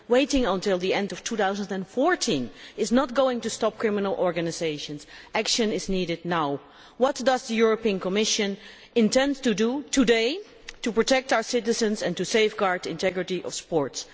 Waiting until the end of 2014 is not going to stop criminal organisations. Action is needed now. What does the Commission intend to do today to protect our citizens and to safeguard the integrity of sports?